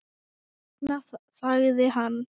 Þess vegna þagði hann.